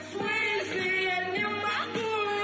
в смысле я не могу